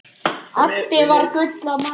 Addi var gull af manni.